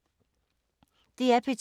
DR P2